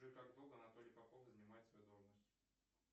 джой как долго анатолий попов занимает свою должность